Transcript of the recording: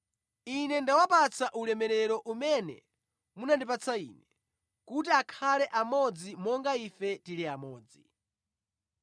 Ine ndawapatsa ulemerero umene munandipatsa Ine, kuti akhale amodzi monga Ife tili amodzi.